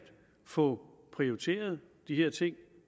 få prioriteret de her ting